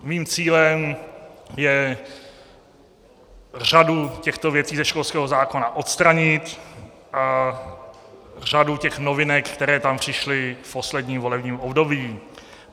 Mým cílem je řadu těchto věcí ze školského zákona odstranit a řadu těch novinek, které tam přišly v posledním volebním období.